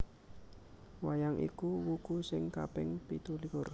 Wayang iku wuku sing kaping pitulikur